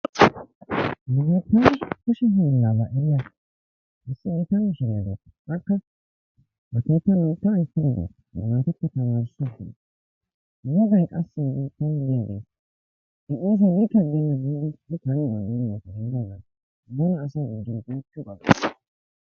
Nu biittaan kushe hiillaabaa eriya issi gita mishshiriyaa de'awusu akka ba keetta loytta ayssiya ba naattakka tamarissiya wogay qassi isson diyaagee i oosoy guutta gidennee giidi karennan mule asay oottiyoogaa.